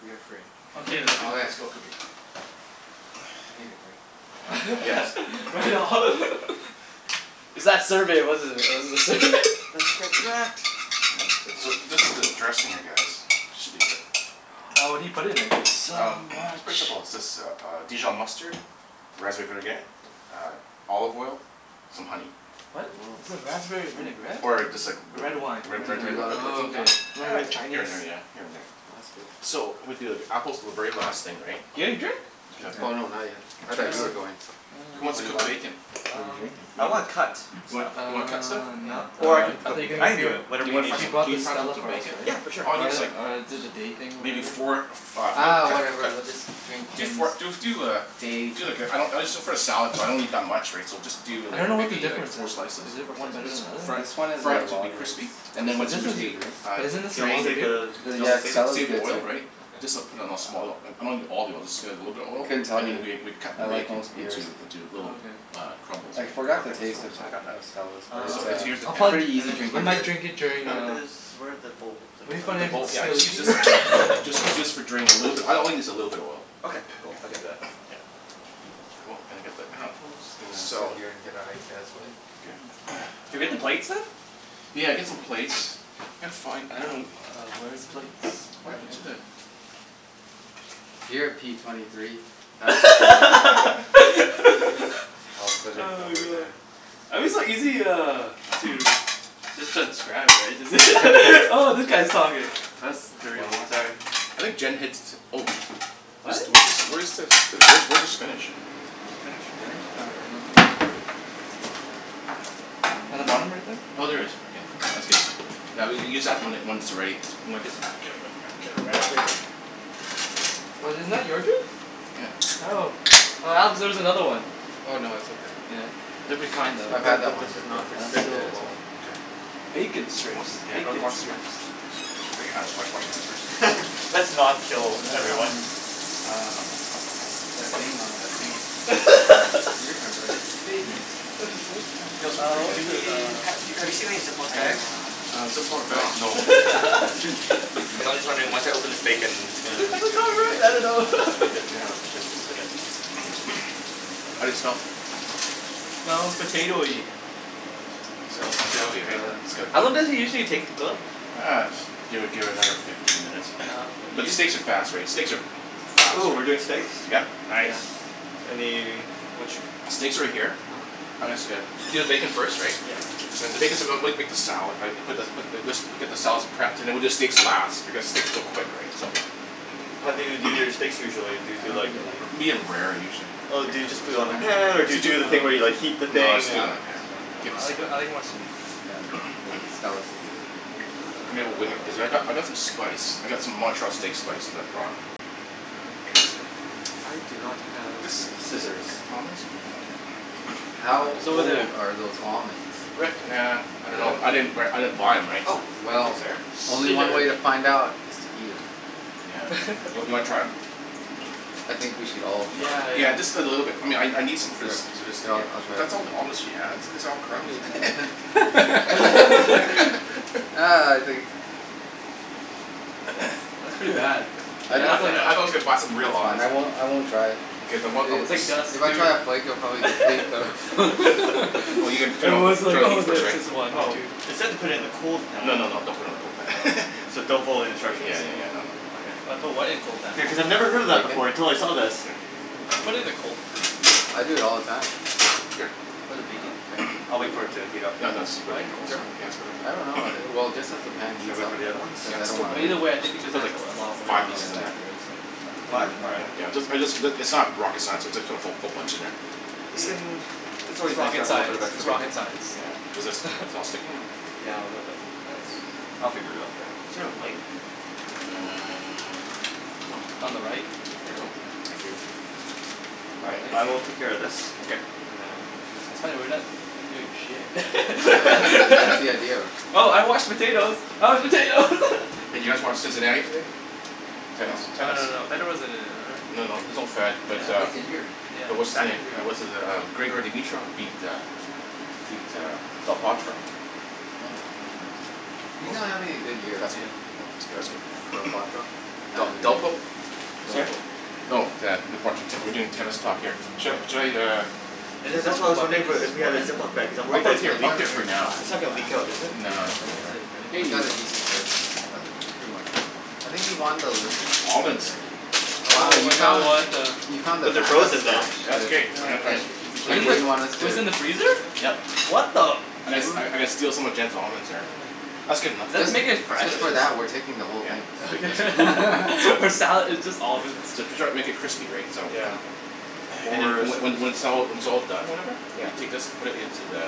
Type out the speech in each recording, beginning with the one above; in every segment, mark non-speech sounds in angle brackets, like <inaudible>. We are free. Okay. Let's go cook it. I need a drink. Yes. <laughs> Right on. <laughs> It's that survey, wasn't it? It was the sur- Let's <laughs> get cracked. So, <inaudible> this is the dressing, I guess. This should be good. <noise> Oh, what do you put in It's it? so Um <noise> it's much. pretty simple. It's just uh dijon mustard, raspberry vinaigrette, uh olive oil, some honey. What? Is it <noise> raspberry vinaigrette? Or just like The red <noise> wine Re- Do red wine you do a lot <noise> of Oh, vinaigrette. cooking, Don? okay. Uh, Very here Chinese. and there, yeah. Here and there. That's good. So, I'm gonna do, like, apples are the very last thing, right? Yeah, you drink? Oh, Okay. no. Not yet. I thought you were going to. Who wants What to do you cook want? bacon? What are you Um, drinking? You I wanna wanna cut cook, stuff Uh like You wanna cut stuff? Yeah. not now. Or I can I cook thought it. you're I gonna can get do you it. Do Whatever you you wanna need fry He some, me bought can the fry up Stella some for us, bacon? right? Yeah. For sure. All you need Or is the, like or did the day thing, Maybe whatever. four of uh Uh, cut whatever cut we'll just drink Do Kim's four do do uh day. Do like a, I don't, it's just for a salad, so I don't need that much, right. So just do I like, don't know what the maybe like difference four is. slices. Is it Four one better than slices? the <noise> other? Fry it This one is fry one of it the to be lagers. crispy. And But this then once is, crispy, uh but isn't Do this you want some me to drain other save the, dude? do you want me Yeah, to s- save it? s- salad's save the good too. oil, right. Okay. Just uh, put it in a small. I'm not a need all the oil. Just add a little bit of I oil. couldn't tell And you. then we we'd cut the I like bacon most beers. into, into little Oh okay. uh crumbles, I right. forgot the Okay. That's taste cool. of I got that. of Stella's. But Um. So it's it's, here's the pan. um pretty And easy then I where drinking does might beer. drink during where uh, does, where're the bowls? I guess it'd be I'll funny The use if I'd one. bowl, yeah, steal just a use k- this for, just <laughs> need to use for drain, a little bit. All I need is a little bit of oil. Okay. Cool. I can do that. <noise> Yeah, cool. And then get the Just apples. gonna sit Salt here and get out of your guys' way. Okay. <noise> Can we get the plates then? Yeah. Get some plates. Yeah, it's fine, I I don't dunno know, <noise> uh where are his plates? Oh yeah. Here, P twenty three. <inaudible> I'll <laughs> <noise> put it Oh my over god! there. I'm just like easy uh, to just transcribe, right? <laughs> Oh, that guy's talking. That's three One more. almost. All right. I think Jen hits, oh sh- This What? do- where's this where's this, where's the spinach? Spinach? I'm not sure. In the bottom right there? Oh, there it is. Okay. That's good. Now, we'll use when that when it's ready, or I guess, <noise> Get around there Was it not your drink? Yeah. Oh. Oh, Alex, there's another one. Oh, no. It's okay. Yeah. Different kind I've though. had that This one is before. not It's pretty good as resealable. well. Okay. Bacon What strips. <noise> yeah. Bacon strips. Clean your hands. Wash wash your hands first. <laughs> Let's not Well kill that's from everyone. um that thing on that thing. Yeah. You <laughs> remember. "Bacon strips" <noise> These look Uh pretty what was Do it, good. we uh ha- have you seen any zip lock I bags? uh Uh zip lock bag? forgot. No. <laughs> Okay. <laughs> Hey, I was just wondering, once I open this bacon, what's the Have we got it right? I don't know. It would be <laughs> good to Yeah. have a place to put it. How do they smell? Smells potatoey. Smells potatoey, right? It's got How a long bit does it usually take to cook? Uh, just give it give it another fifteen minutes. Oh, okay. But steaks are fast, right? Steaks are fast, Ooh, we're doing right? steaks? Yep. Nice. Any, which Steaks are right here. uh-huh. I guess uh, you do the bacon first, right? Yeah, I'll do <inaudible> this <inaudible> make the salad, right. Put the put this put the just get the salad's prepped, and then we'll do the steaks last, because steaks are so quick, right. So How do you do your steaks usually? Do you I do don't like think you'll like this the one though. Medium rare, usually. Oh Oh is do you it just a do it It's on the song? kind of bitter. pan, or do you do the thing where you like heat the No, let's thing But and do it I on the like it. pan. Keep it I like simple I <noise> like it more sweet. Yeah. The Stella's would be good for you. I mean when, cuz I've got Uh I've got some spice. I got some Montreal steak spice that I brought. Uh, here is the I do not have scissors. How It's over there. old are those almonds? Rick, Nah, there. I don't know. I didn't b- I didn't buy 'em, right? Oh, So thank you Well sir. Only one way to find Scissors. out, is to eat 'em. Yeah. You w- you wanna try 'em? <laughs> I think we should all Yeah, try. Yeah. yeah. Just a little bit. I mean I n- I need some Yeah, I'll I'll <inaudible> try. That's all the almonds she has? These are all crumbs. <laughs> <laughs> Ah, I think That's <noise> that's pretty bad. I But di- <inaudible> I was like you a box of real it's fine, almonds. I won't I won't try. Okay. Then It what was like dust, <noise> If I try a flake I'll dude. probably deplete the <laughs> <laughs> It was like, oh it's just one or Oh, two. it said to put it in a cold No, pan. no, no. Don't put it in a cold pan. <laughs> So don't follow the Yeah instructions. yeah yeah, no no. Okay. Put what in a cold pan? Yeah, cuz I've never heard of that before until I saw this. Here. Oh, I put it in the cold. I do it all the time. What, the Here. bacon? Yeah. <noise> I'll wait for it to heat up Yeah, and no, then just put Why it in cold? in <inaudible> Sure? just I don't put it in. know. Well, <noise> just as the pan Should I heats wait up, for the other ones? cuz Yeah. I That's don't too wanna But many. either <inaudible> way, I think There's because it probably adds like a lot of f- oil five pieces and in there. fat, right, so Five? All right. Yeah. I just I just, it's not rocket science. It's just, put a whole bunch in there. We can, it's It's always nice to rocket have a little bit science. of extra It's <noise> bacon. rocket Yeah. This science. is all <laughs> sticking here. Yeah, a little bit. That's, I'll figure it out. Yeah. Is there a light? Uh On the right. Here you go. Thank you. All right, I will take care of this. Okay. And That's funny, we're not doing shit. <inaudible> <laughs> that's the idea of her. Oh, I washed the potatoes. I washed potatoes. <laughs> Hey, did you guys watch Cincinnati today? Tennis. Oh Oh no, no no Tennis? no. no. Federer wasn't in it, or No, no. There's no Fed, but uh He's injured. Yeah, But what's his back name, injury. uh what's his uh, Grigor Dimitrov beat uh beat uh Del Potro Oh, okay. He's not Awesome. having a good That's year. Yeah. cool. That's cool. Del <noise> Potro? Uh, D- Delpo? Sorry? Oh, yeah. <inaudible> We're doing tennis talk here. Should I should I, uh And Yeah, his that's only why I was weapon wondering is wh- his if we had a forehand zip though? lock bag because I'm I'll worried that put it it's Yeah, here, gonna he's leak. I'll got put it a here very for now. flat It's and not gonna leak fast out, is forehand. it? Nah. Yeah. But that's it, right? You <inaudible> got Hey! a decent <inaudible> That's pretty much it. I think he won the Olympic Almonds. Wow, Oh you my god, found what the the You found the But they're back up frozen now. stash That's okay. I'm gonna I'm Yeah. That Just you Wasn't microwave it, didn't gonna <inaudible> them? want us it to was in the freezer? Yep. What the I gotta st- I Kim I gotta steal some of Jen's almonds here. That's good enough. Is that to make it fresh Just or for s- that, we're taking the whole Yeah. thing. Okay. <laughs> <laughs> For salad. It's just almonds. So to try and make it crispy, right. So Yeah. <noise> <noise> And then, More and so- when when it's all, when it's all done, or whatever Yeah. You take this, put it into the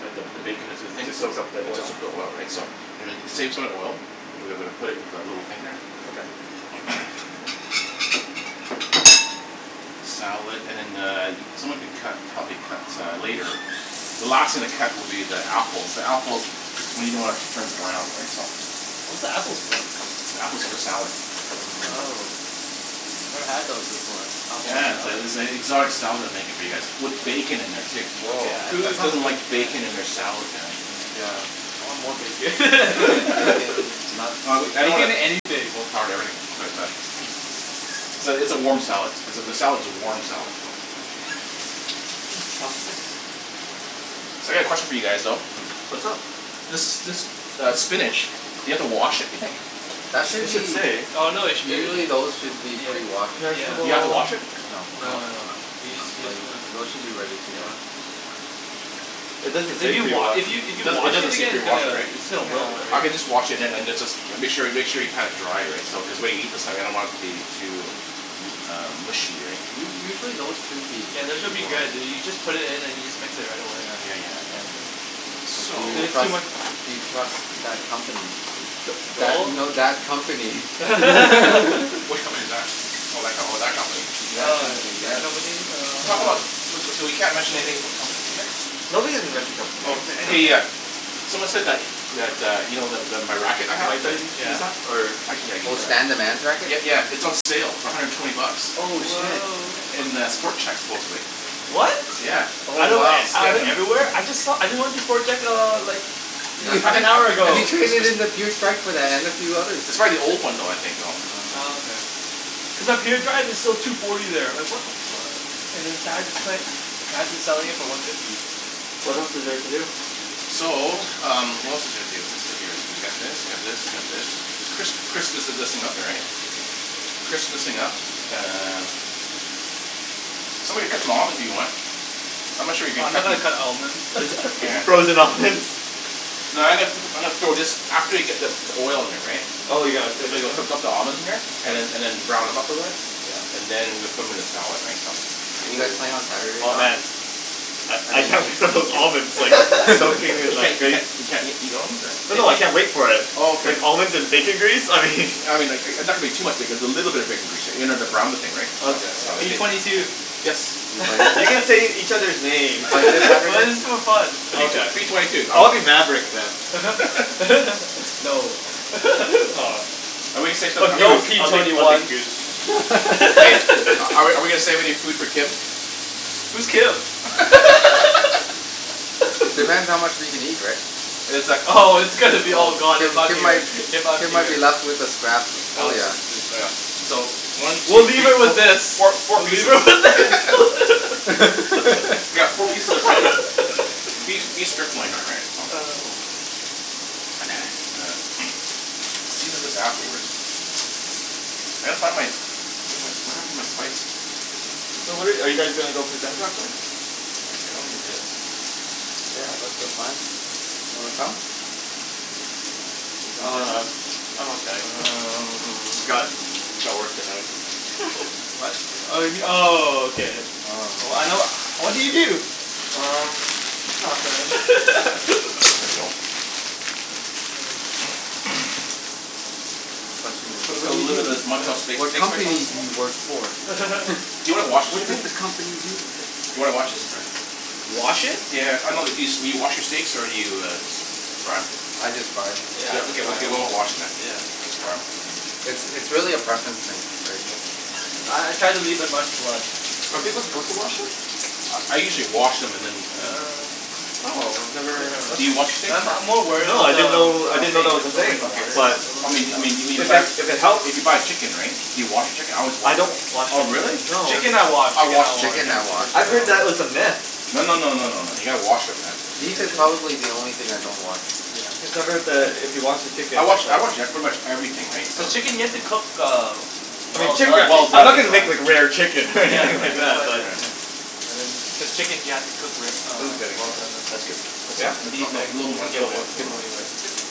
the, the bacon into the thing To soak up the It oil. soaks up the oil, right. So, and then save some of the oil. We're gonna put it in our little thing here. Okay. <noise> Salad and then the, someone could cut, help me cut uh later. The last thing to cut will be the apples. The apples, you don't wanna turn brown, right, so What's the apples for? The apple's for the salad. Oh. Never had those before. Apple in a Yes. salad. It's a exotic style that I'm making for you guys, with bacon in there too. Woah. Whose That sounds doesn't good. like Yeah. Yeah. bacon in their salad, man? Yeah. I want more bacon. <laughs> Bacon, nuts. Oh I w- I don't wanna Bacon anything. overpower the herb but uh. <noise> So, it's a warm salad. It's a, the salad's a warm salad though. So, I got a question for you guys though. What's up? This this uh spinach, do you have to wash it, do you think? That should It should be say. Oh no they sh- Usually those should <noise> be Yeah. pre-washed. Here's the Do you have to bowl. wash it? No. No, no. Yeah. Those should be ready to Yeah. go. It doesn't If say you wa- pre-washed. if you if It you doesn't it wash doesn't it say again it's pre-washed, gonna right? it's gonna wilt, I right? Yeah. can just wash it and then it's just, make sure y- make sure you pat it dry, right? So cuz when we eat this I don't want the it to be um too uh mushy, right? U- usually those should be Yeah. This should be good. You you just put it in and you just mix it right away. Yeah yeah yeah. S- So Do you it's too trust much. do you trust that company? That, no that <noise> company. <laughs> Which company is that? Oh, that co- that company. That Oh, company, yeah, that yes. company. Uh Talk about, uh so, so we can't mention anything about companies here? No, we didn't mention company Okay, names, yeah. yeah. Someone said that that, uh, you know the the my racket I Can have, I <inaudible> that use that or I can, yeah, I'll Oh, use Stan the that. man's racket? Yeah, yeah. It's on sale for a hundred and twenty bucks. Oh Oh shit. wow. In the Sport Chek supposedly. What? Yeah. Oh I know, wow. I went everywhere. I just saw, I just went to Sport Chek uh, like half an hour You ago. traded in <inaudible> and a few others. It's probably the old one though, I think, you know. Oh, Oh. okay. Cuz up here, the drive is still two forty there. Like what the fuck <inaudible> selling it for one fifty. What else is there to do? So, um what else is there to do here, what's here, you got this, you got this, you got this. Crisp, crisp this is <inaudible> up here, right? Okay. Crisp this thing up uh Somebody cut them almonds, if you want. I'm not sure you can Uh I'm not cut gonna cut almonds. the Yeah. Frozen almonds. No, I'm gonna put, I'm gonna throw this after you get the the oil in there, right. Oh, you're gonna put it in there? <inaudible> the almonds in here. And then and then brown them up a bit. Yeah. And then, we'll put them 'em in the salad, right. So You Ooh. guys playing on Saturday, Oh Don? man. I I I mean can't P wait for twenty those two. almonds like <laughs> soak your <laughs> hand You like can't you can't <inaudible> you can't eat eat almonds, or? Oh no I can't wait for it. Oh, okay. Like almonds and bacon grease, I mean I mean like, and that would be too much because a little bit of bacon grease there, you know, to brown the thing, right. So, Okay, P whatever. if it twenty two. Yes? Are you playing? You can say each other's names. <laughs> That is <inaudible> too fun. Okay. P twenty two. I'll be Maverick then. <laughs> No. <laughs> Aw. Are Or we No, Goose. P I'll gonna take twenty I'll say take one. Goose. something? Are we <laughs> are we gonna save any <laughs> food for Kim? Who's Kim? <laughs> Depends how much we can eat, right? Oh, it's gonna be all gone Kim if I'm Kim here, might if I'm Kim might here. be left with the scraps. Oh, yeah. Dude. Oh yeah. So, one, two, We'll three, leave her with fo- this. four four We'll leave pieces her with this. <laughs> We got four pieces of tender <laughs> beef beef strip loin though, right? So. <noise> Then sear this afterwards. I gotta find my, where's my, what happened to my spices? So where are you guys gonna go play tennis this afternoon? <noise> I don't need this. Yeah, that's the plan. Wanna come? Play some Oh no, tennis. I'm okay. <noise> I got Um. <inaudible> work tonight <laughs> What? Oh you m- oh, okay. Oh. I know <noise> what do you do? Um, nothing. There <noise> you <laughs> go. <noise> The question is Put a put "What do a you little bit do? of this Montreal steak What steak spice on company this do you <inaudible> work for?" <laughs> Do you wanna wash it "What for does me? the company do?" Do you wanna wash this or? Wash it? Yeah. I know it used to be, do you wash your steaks or do you just fry 'em? I just fry them. Yeah. Okay, okay, we're not washing then. Yeah. Just fry 'em. It's it's really a preference thing, right. Uh I try to leave in much blood. Are people supposed to wash them? I I usually wash them and then and then Uh Oh, I've never Do you wash steaks Uh I'm I'm or? more worried No. about I didn't the know I didn't know steak that was a absorbing thing. the Okay. water. But I mean, I mean, if you if buy, it if it helps if you buy chicken, right? Do you wash your chicken? I always I wash don't wash the Oh, really? chicken. No. Chicken I wash, I chicken wash I wash. chicken. Chicken Yeah. I wash I've for heard sure. that was a myth. No no no no. You gotta wash 'em, man. Beef is probably the only thing I don't wash. Cuz Yeah. I've heard that if you wash the chicken I wash I wash, yeah, pretty much everything, right, so The chicken you have to cook uh I mean well chicken, done. Well I'm not done. gonna make like rare chicken Yeah, <laughs> like that's why I was like, yeah But chicken you have to cook wer- uh well done as <inaudible> well. That's good. Yeah? No, no. A little Little more, more. little more.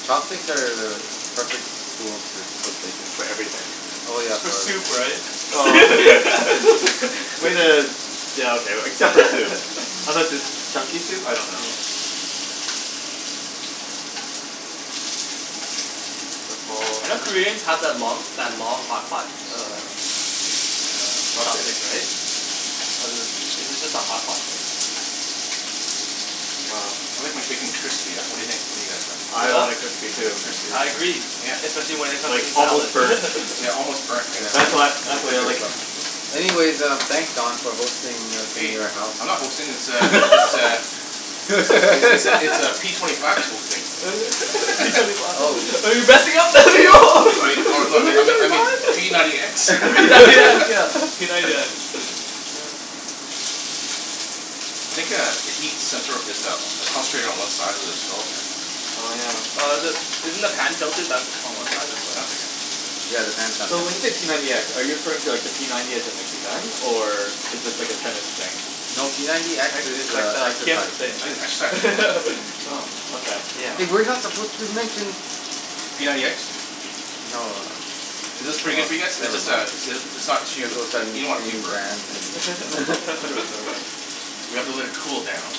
Chopsticks are the perfect tool to cook bacon. For everything. Oh yeah. For soup, right? <laughs> Way to, yeah okay, except for soup. <laughs> Unless it's chunky soup, I don't know. Yeah. I know Koreans have that long that long hot pot, uh Chopstick, Chopstick? right? Was it, is it just a hot pot thing? I like my bacon crispy, yeah? What do you think? What do you guys think? I want it crispy too. I agree. Especially when it comes to Like the almost salad. burnt. <laughs> Yeah, almost burnt, right, That's so what, that's the way I like it. Anyways, um, thanks Don for hosting us in Hey, your house. I'm not hosting this uh, this uh <laughs> <laughs> It's like, it's it's it's uh p twenty five who's hosting. <laughs> P twenty five <laughs> Oh. I mean, oh no, I mean, I me- I mean, p ninety x <inaudible> <laughs> <laughs> P ninety x, <laughs> yeah, p ninety x. <noise> I think uh, the heat center is uh, concentrated one side of the stove here. Oh yeah. Uh the, isn't the pan tilted back on one side as Yeah, well? that's okay. Yeah, the pan's not So when tilted. you say p ninety x, are you referring to like the p ninety as in like the gun? Or is this like a tennis thing? No, p ninety x X is is like uh the Kim exercising I need an exercise thing. <laughs> <inaudible> Oh, okay. Yeah. Hey, we're not supposed to mention P ninety x? No. Is Oh this pretty good well, for you guys? It's never just uh mind. it's it's not too, You guys both started you don't wanna too naming burnt, brands and that's the thing. <inaudible> <laughs> We have to let it cool down.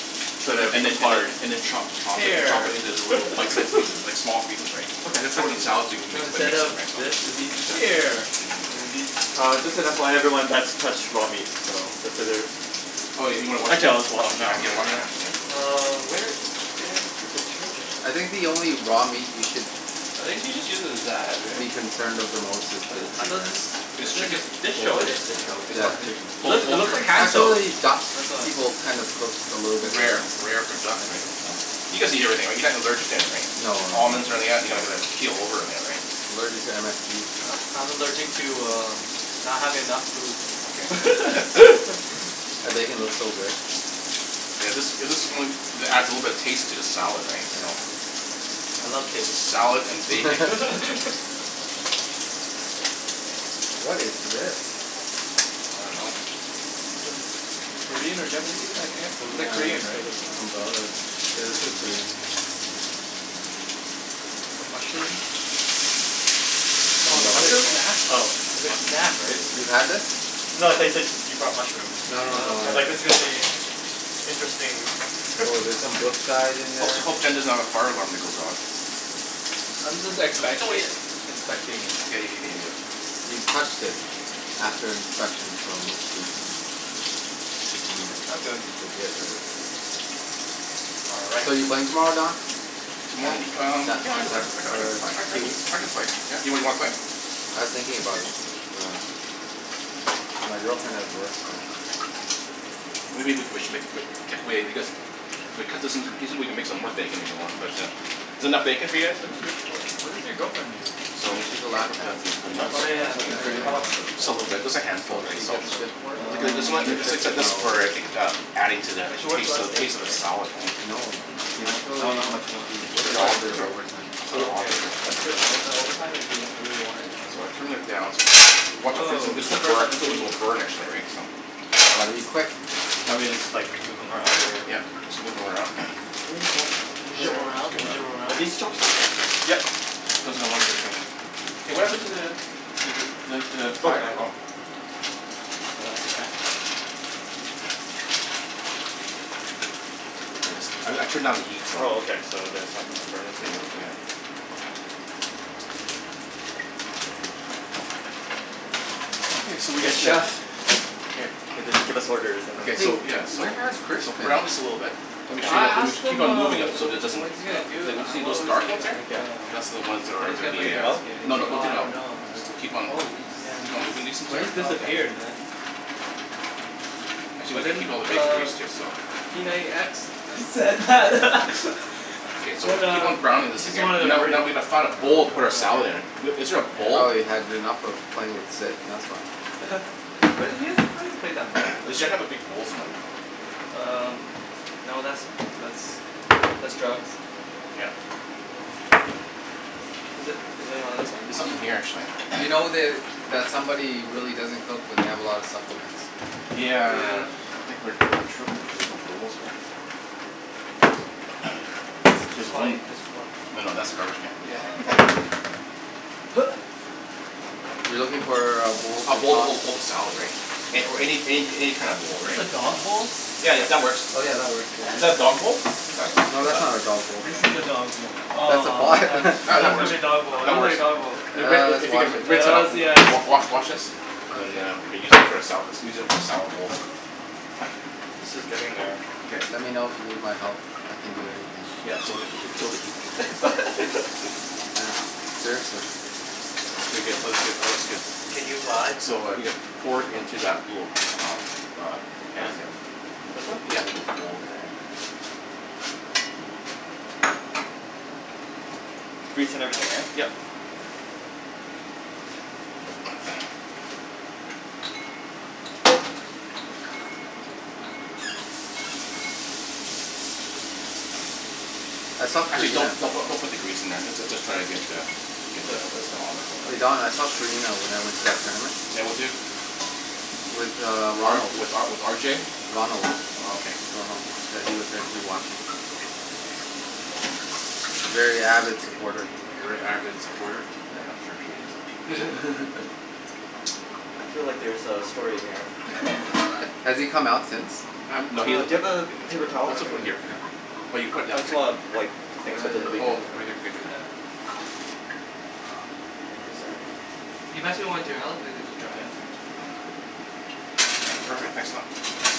And then and then and <inaudible> then, chop chop it chop Hair it into little <laughs> bite size pieces, like small pieces, right. You Okay. gotta I throw it in can the do salad, so we that. can No, mix and instead mix it, of right, so this, it'd be Mkay. hair. And it'd be Uh just an FYI <laughs> everyone, that's touched raw meat. So, consider Oh, you you wanna wash Actually your I'll hand? wash them now. Yeah. Wash your hands, <laughs> yeah. Um where is the detergent? I think the only raw meat you should It think she just uses that, be right? concerned of the most is But I poultry, thought right. This chicken? <inaudible> dish soap Is it Yeah, what? of chicken. It Poul- looks it poultry, looks like right? hand soap, Actually, I duck, thought. people kind of cook a little bit Rare, rare. rare for duck, Yeah. right? You guys eat everything, right? You're not allergic to anything? No no no Almonds or any no. of that? You're not gonna keel over or any of that, right? I'm allergic to MSG. Uh I'm allergic to uh not having enough Okay. food <laughs> That bacon looks so good. Yeah. This, is this the one that adds a little bit of taste to the salad, right? So Yeah. I love taste. Salad and bacon. <laughs> <laughs> What is this? I dunno. Sort of Korean or Japanese It's like, <noise> some it's uh like sort Korean, right? of umbrella that's, yeah, this is Korean. Some mushrooms? Some kind of snack? <inaudible> It's a snack, right? You've had this? No, I said I said you brought mushrooms. No no I no was like, this <noise> is gonna be interesting. <laughs> Oh, there's some Brookside in Hope there. t- hope Jen doesn't have a fire alarm that goes off. I'm just expect- like inspecting it. You've touched it after inspection so unless you eat 'em I'm Mm, good. legit, right? All right. So, you playing tomorrow, Don? Tomo- um yeah I I can I <inaudible> can Or I can I c- Huey? I can play, yeah. You wanna play? I was thinking about it, but uh. My girlfriend has work so Maybe we c- we sh- <inaudible> if we cut this into the pieces, we can make some more bacon, if you want? But uh is that enough bacon for you guys? What does your wh- what does your girlfriend do? So, So, we she's a lab can tech. put the nuts Oh yeah It's open in for you, how <inaudible> much? hospital. <inaudible> Just a little bit. Just a handful, So right. she So gets shift Um work. <inaudible> Her shift is not always the same. adding to the But she works tas- to less the days, taste of the right? salad, right? No. Do you want, I dunno know Actually, how much you want. she works These are quite a alm- bit these of are overtime. Oh whole okay. almonds right? That's good though. Is that overtime if you if you really wanted? So I turned it down. So watch out for this one Woah, this it's the one's first time burnt, I'm this seeing one will this. burn actually right so I'll be quick. Want me to just like, move them around, or? Yep. Just move 'em around. <noise> There you go. Bouge Shit. them It's around. good Bouge enough. them Are around. these chopsticks? Yep. Okay. <inaudible> Hey what happened to the the the the the the fire, oh. <inaudible> No elastic band? Thanks. I I turned down the heat so Oh okay. So that's not gonna burn <inaudible> Yeah yeah. Okay so we Yes get to chef. K. <inaudible> Give us orders and Ok then So so yeah, so where has Chris so been? brown this a little bit. Make Okay. sure I you, you asked ma- keep him on uh moving them wh- so it wh- doesn't, what he's gonna do, you don't see uh those what was dark the ones uh, here? like Yep. uh That's all the ones that are when he's gonna gonna play be Take them uh. tennis out? again and he's No no, like don't "Oh take I them out. don't know. I Just don't know." keep on Oh he just, keep he on just moving these Yeah. ones He here. quit? just Oh. disappeared man. Actually we But could then keep all the bacon uh grease too, so. p ninety x said that Okay <laughs> so we said keep uh on browning he this just again, wanted a now break. now we need to find a bowl No to put our salad idea. in. Is there a bowl? Probably had enough of playing with Sid. That's why. <laughs> But then you you haven't played that much with <noise> Does him. Jen have a big bowl somewhere? Um, no, that's that's that's drugs. Yeah. Is that is that on There's this one? Y- nothing here actually. you <noise> know that, that somebody really doesn't cook when they have a lot of supplements. Yeah. Yeah. I think we're having trouble with where the bowls are at. <noise> This is Just white, fine, just more. no no, that's a garbage Yeah. can. <laughs> <laughs> <noise> You're looking for uh a bowl A to bowl to toss hold hold the hold the salad right, or any any any kind of Is bowl this right. a dog bowl? Yeah, yeah, that works. Oh yeah, that works. Is that a dog bowl? That's not a dog, No, that's that's not not a dog a bowl. This is a dog bowl. That's a Aw I pot. thought I <laughs> thought That that that was gonna works. be a dog bowl, it That looked works. like a dog bowl. <noise> Hey Rick if Let's if you wash can it. rinse that out, Hells yes. wa- wa- wash wash this. And then uh re-use it for a sala- let's use it as a salad bowl. This is getting there. Okay. Let me know if you need my help. I can do anything. Yeah, well it would it would kill the heat. <laughs> Yeah, seriously. It's pretty good. It looks good, it looks good. Can you fly? So, uh, you could pour it into that little uh uh pan This there. one? This one? Yeah. Little bowl there. Yep. Grease and everything, right? Yep. <noise> I saw Actually don't, Karina don't don't put the grease in there, just uh just try to get the get the Just <inaudible> Hey Don, I <inaudible> saw Karina when I went to that tournament. Yeah, with who? With uh R Ronald. with uh with R J? Ronald. Oh okay. Ronald, yeah he was there too watching. Very avid supporter. A very avid supporter? Yeah, I'm sure he is. <laughs> I feel like there's a story here. Has he come out since? Um Uh no, do he doesn't you ta- have a paper towel, I Let's all can put it here Here, for now. here. Well you put it I down just here. wanna wipe the things Oh right <noise> here, <inaudible> paper towel. Thank you sir. Can you pass me one too <inaudible> Perfect, thanks a lot.